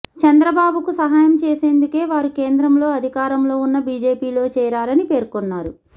చంద్రబాబు కు సహాయం చేసేందుకే వారు కేంద్రంలో అధికారంలో ఉన్న బీజేపీలో చేరారని పేర్కొన్నారు